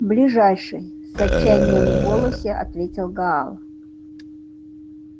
в ближайший с отчаянием в голосе ответил гаал